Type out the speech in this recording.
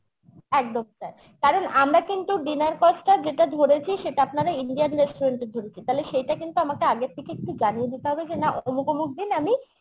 একদম sir কারণ আমরা কিন্তু dinner cost টা যেটা ধরেছি সেটা আপনারা Indian restaurant এ ধরেছি তাহলে সেটা আমাকে আগের থেকে একটু জানিয়ে দিতে হবে যে না অমুক অমুক দিন আমি